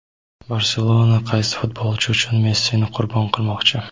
"Barselona" qaysi futbolchi uchun Messini "qurbon qilmoqchi"?.